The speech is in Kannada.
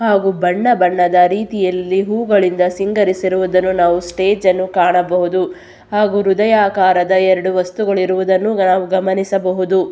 ಹಾಗು ಬಣ್ಣ ಬಣ್ಣದ ರೀತಿಯಲ್ಲಿ ಹೂವುಗಳಿಂದ ಸಿಂಗರಿಸಿರುವುದನ್ನು ನಾವು ಸ್ಟೇಜ್ ಅನ್ನು ಕಾಣಬಹುದು ಹಾಗು ಹೃದಯಾಕಾರದ ಎರಡು ವಸ್ತುಗಳು ಇರುವುದನ್ನು ನಾವು ಗಮನಿಸಬಹುದು.